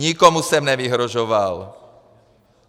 Nikomu jsem nevyhrožoval.